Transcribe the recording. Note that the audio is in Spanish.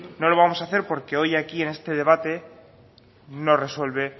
no lo vamos a hacer porque hoy aquí en este debate no resuelve